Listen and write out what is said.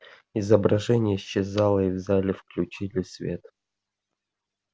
изображение исчезло и в зале включили свет